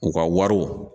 U ka wariw